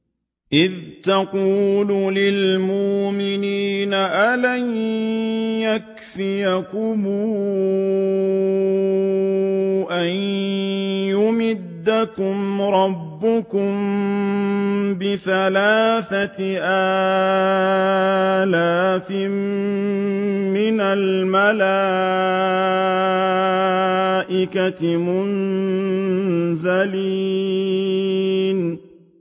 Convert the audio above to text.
إِذْ تَقُولُ لِلْمُؤْمِنِينَ أَلَن يَكْفِيَكُمْ أَن يُمِدَّكُمْ رَبُّكُم بِثَلَاثَةِ آلَافٍ مِّنَ الْمَلَائِكَةِ مُنزَلِينَ